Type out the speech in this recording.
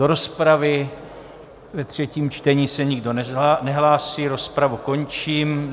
Do rozpravy ve třetím čtení se nikdo nehlásí, rozpravu končím.